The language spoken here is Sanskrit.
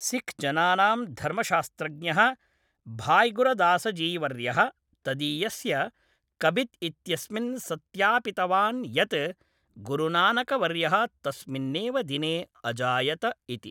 सिक्ख्जनानां धर्मशास्त्रज्ञः भाय्गुरदासजीवर्यः तदीयस्य कबित् इत्यस्मिन् सत्यापितवान् यत् गुरुनानकवर्यः तस्मिन्नेव दिने अजायत इति।